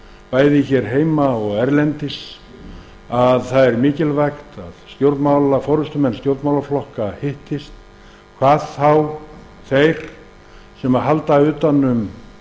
bæði hér heima og erlendis að mikilvægt er að forustumenn stjórnmálaflokka hittist sérstaklega þeir sem halda utan um